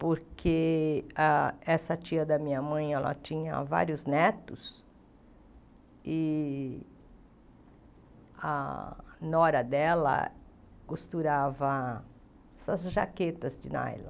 porque a essa tia da minha mãe, ela tinha vários netos, e a nora dela costurava essas jaquetas de nylon.